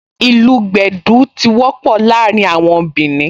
Ìlù gbẹ̀dú tí wọ́pọ̀ láàrin àwọn Bìnì